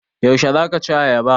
Yaushe za ka ci ayaba?